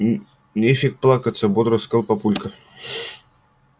нефиг плакаться бодро сказал папулька